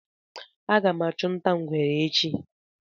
Aga m achu nta ngwere echi